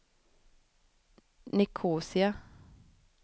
Nicosia